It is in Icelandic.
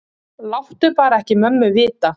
Láttu bara ekki mömmu vita.